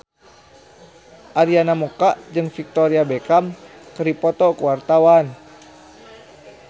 Arina Mocca jeung Victoria Beckham keur dipoto ku wartawan